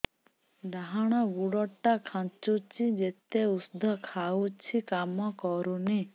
ଡାହାଣ ଗୁଡ଼ ଟା ଖାନ୍ଚୁଚି ଯେତେ ଉଷ୍ଧ ଖାଉଛି କାମ କରୁନି